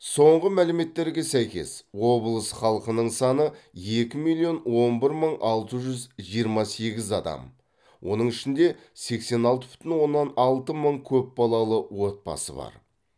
соңғы мәліметтерге сәйкес облыс халқының саны екі миллион он бір мың алты жүз жиырма сегіз адам оның ішінде сексен алты бүтін оннан алты мың көпбалалы отбасы бар